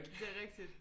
Det er rigtigt